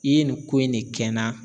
I ye nin ko in ne kɛ n na